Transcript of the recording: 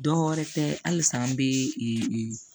Dɔ wɛrɛ tɛ hali san an be